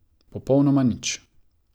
Popolnoma nič.